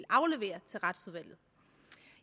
aflevere til retsudvalget